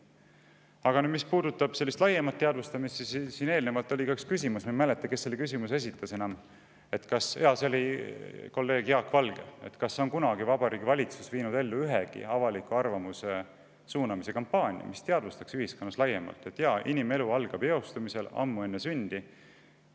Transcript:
Aga mis puudutab sellist laiemat teadvustamist, siis siin eelnevalt oli üks küsimus – ma ei mäleta, kes selle küsimuse esitas, jaa, see oli kolleeg Jaak Valge – selle kohta, et kas Vabariigi Valitsus on kunagi ellu viinud avaliku arvamuse suunamise kampaaniat, et teavitada ühiskonda laiemalt: inimelu algab eostamisest, ammu enne sündi.